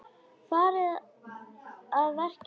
Farinn að verja Skúla!